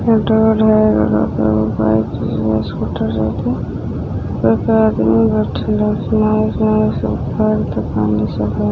यहाँ घर है रोड हैं रोड पर बाईक रखी हैं स्कूटर पर एक आदमी बैठे हैं उसने लाल कलर की टी-शर्ट पहनी है।